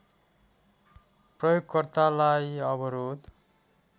प्रयोगकर्तालाई अवरोध